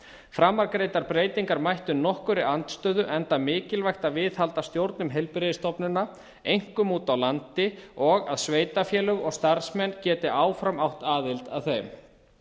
framangreindar breytingar mættu nokkurri andstöðu enda mikilvægt að viðhalda stjórnum heilbrigðisstofnana einkum úti á landi og að sveitarfélög og starfsmenn geti áfram átt aðild að þeim